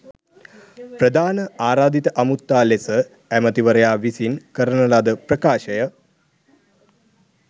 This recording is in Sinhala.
ප්‍රධාන ආරාධිත අමුත්තා ලෙස ඇමතිවරයා විසින් කරන ලද ප්‍රකාශය